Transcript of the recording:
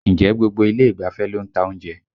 Ǹjẹ́ gbogbo ilé ìgbafẹ́ ló ń ta oúnjẹ?